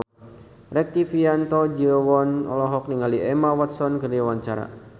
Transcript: Rektivianto Yoewono olohok ningali Emma Watson keur diwawancara